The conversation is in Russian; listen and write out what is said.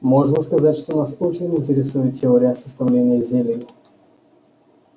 можно сказать что нас очень интересует теория составления зелий